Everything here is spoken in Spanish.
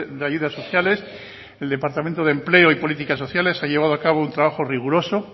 de ayudas sociales el departamento de empleo y políticas sociales ha llevado a cabo un trabajo riguroso